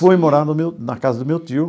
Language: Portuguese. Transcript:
Fui morar no meu na casa do meu tio.